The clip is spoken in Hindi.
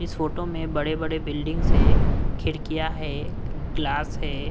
इस फोटो में बड़े बड़े बिल्डिंग्स है खिड़कियां है ग्लास है।